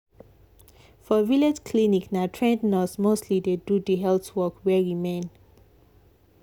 for village clinic na trained nurse mostly dey do the health work wey remain.